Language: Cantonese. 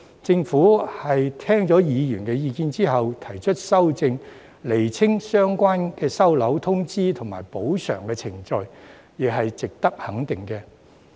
政府聽取議員的意見後提出修正案，釐清相關的收樓、通知及補償程序，亦是值得肯定的。